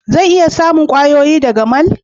Zan iya samun kwayoyi daga mall?